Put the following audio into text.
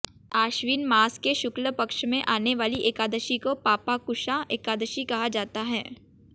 आश्विन मास के शुक्ल पक्ष में आने वाली एकादशी को पापांकुशा एकादशी कहा जाता है